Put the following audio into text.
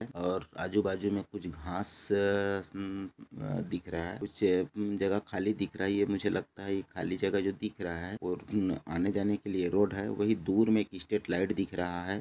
एक बहुत बड़ा संविधान है सामने फुटबॉल का गार्डन है बहुत खुला आसमान नजर आ रहा है एक हम भी लगे हैं बिजली की तरह जा रही हैं।